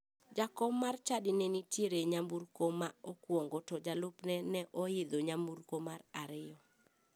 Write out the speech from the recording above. Jakom mar chadi ne nitiere e nyamburko ma okuongo to jalupne ne oidho nyamburko mar ariyo.